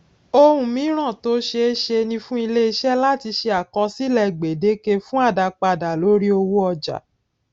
ohun míràn tó ṣeéṣe ni fún iléiṣé láti ṣe àkọsílè gbèdéke fún àdápadà lórí owó ọjà